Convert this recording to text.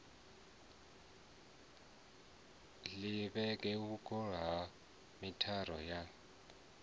linge vhungoho ha mithara o